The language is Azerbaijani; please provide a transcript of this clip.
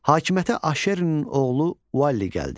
Hakimiyyətə Ahşerinin oğlu Valli gəldi.